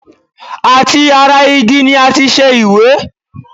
Àti ara igi ni a ti ṣe ìwé?